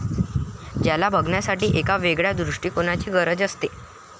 ज्याला बघण्यासाठी एका वेगळ्या दृष्टीकोणाची गरज असते.